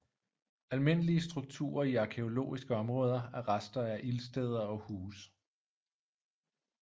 Almindelige strukturer i arkæologiske områder er rester af ildsteder og huse